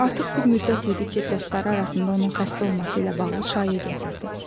Artıq bir müddət idi ki, dostları arasında onun xəstə olması ilə bağlı şayiə gəzirdi.